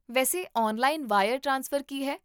ਵੈਸੇ, online wire transfer ਕੀ ਹੈ?